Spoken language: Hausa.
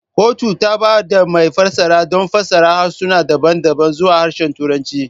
Kotun ta ba da mai fassara don fassara harsuna daban-daban zuwa Harshen Turanci.